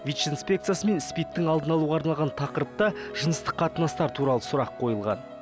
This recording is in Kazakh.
вич инспекциясы мен спид тің алдын алуға арналған тақырыпта жыныстық қатынастар туралы сұрақ қойылған